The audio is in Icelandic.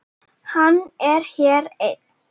Hann er hér enn.